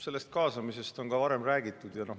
Sellest kaasamisest on ka varem räägitud.